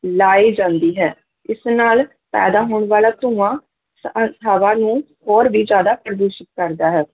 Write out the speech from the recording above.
ਲਾਈ ਜਾਂਦੀ ਹੈ ਇਸ ਨਾਲ ਪੈਦਾ ਹੋਣ ਵਾਲਾ ਧੂੰਆਂ ਤਾਂ ਹਵਾ ਨੂੰ ਹੋਰ ਵੀ ਜ਼ਿਆਦਾ ਪ੍ਰਦੂਸ਼ਿਤ ਕਰਦਾ ਹੈ,